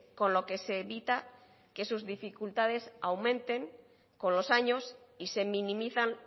con lo que se evita que sus dificultades aumenten con los años y se minimizan